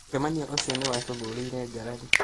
Mũcemanio ũcio nĩwatuthũrire ngarari